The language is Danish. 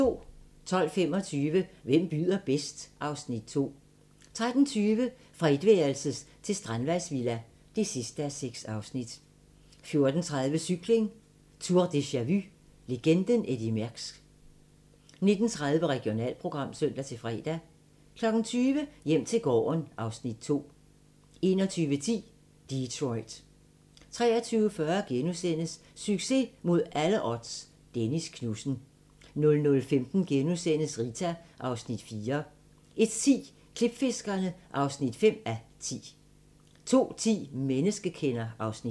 12:25: Hvem byder bedst? (Afs. 2) 13:20: Fra etværelses til strandvejsvilla (6:6) 14:30: Cykling: Tour deja-vu - legenden Eddy Merckx 19:30: Regionalprogram (søn-fre) 20:00: Hjem til gården (Afs. 2) 21:10: Detroit 23:40: Succes mod alle odds - Dennis Knudsen * 00:15: Rita (Afs. 4)* 01:10: Klipfiskerne (5:10) 02:10: Menneskekender (Afs. 1)